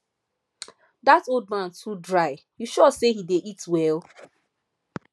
dat old man too dry you sure say he dey eat well